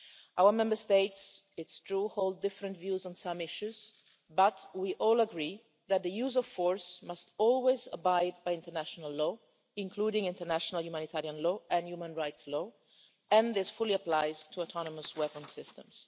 Our Member States, it's true, hold different views on some issues, but we all agree that the use of force must always abide by international law, including international humanitarian law and human rights law, and this fully applies to autonomous weapons systems.